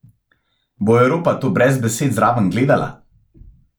Bo Evropa to brez besed zraven gledala?